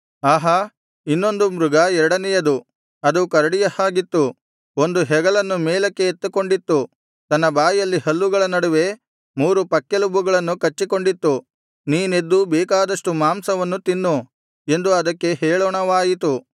ಆಹಾ ಇನ್ನೊಂದು ಮೃಗ ಎರಡನೆಯದು ಅದು ಕರಡಿಯ ಹಾಗಿತ್ತು ಒಂದು ಹೆಗಲನ್ನು ಮೇಲಕ್ಕೆ ಎತ್ತಿಕೊಂಡಿತ್ತು ತನ್ನ ಬಾಯಲ್ಲಿ ಹಲ್ಲುಗಳ ನಡುವೆ ಮೂರು ಪಕ್ಕೆಲುಬುಗಳನ್ನು ಕಚ್ಚಿಕೊಂಡಿತ್ತು ನೀನೆದ್ದು ಬೇಕಾದಷ್ಟು ಮಾಂಸವನ್ನು ತಿನ್ನು ಎಂದು ಅದಕ್ಕೆ ಹೇಳೋಣವಾಯಿತು